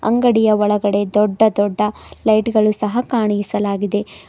ಅಂಗಡಿಯ ಒಳಗಡೆ ದೊಡ್ಡ ದೊಡ್ಡ ಲೈಟ್ ಗಳು ಸಹ ಕಾಣಿಸಲಾಗಿದೆ.